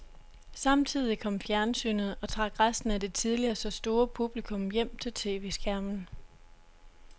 Samtidig kom fjernsynet og trak resten af det tidligere så store publikum hjem til tv-skærmen.